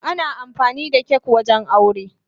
Ana amfani da kak wajen aure.